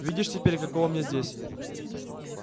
видишь теперь каково мне здесь